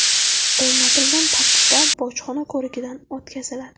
o‘rnatilgan tartibda bojxona ko‘rigidan o‘tkaziladi.